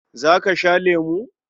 Za ka sha lemo?